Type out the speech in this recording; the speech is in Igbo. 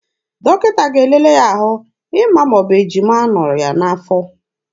Dọkịta ga-elele ya ahụ ịma ma ọ bụ ejima nọ ya n'afọ.